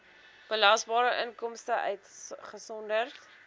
belasbare inkomste uitgesonderd